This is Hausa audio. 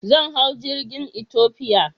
Zan hau jirgin Ethiopia.